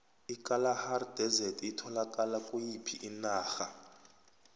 ikalahari desert itholakala kuyiphi inarha